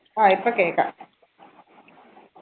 ആ ഇപ്പോ കേക്കാം